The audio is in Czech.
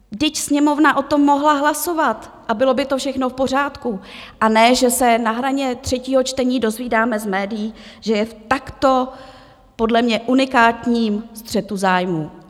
Vždyť Sněmovna o tom mohla hlasovat a bylo by to všechno v pořádku, a ne že se na hraně třetího čtení dozvídáme z médií, že je v takto podle mě unikátním střetu zájmů.